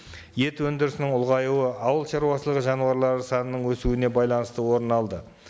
ет өнідірісінің ұлғаюы ауыл шаруашылығы жануарлары санының өсуіне байланысты орын алды